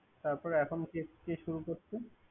তারপরে এখন কে কে শুরু করছে।